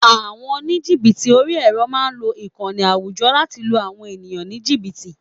Àwọn oníjìbìtì orí-ẹrọ máa ń lo àwọn ìkànnì àwùjọ láti lu àwọn ènìyàn ní jìbìtì